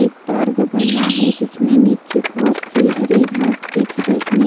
एक पार्क बना है जिसमे नीचे बहुत से हरे घास दिख रही--